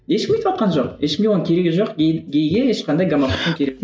ешкім өйтіватқан жоқ ешкімге оның керегі жоқ гей гейге ешқандай